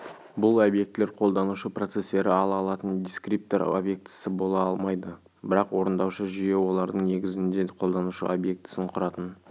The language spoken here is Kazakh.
бұл объектілер қолданушы процестері ала алатын дискриптор объектісі бола алмайды бірақ орындаушы жүйе олардың негізінде қолданушы объектісін құратын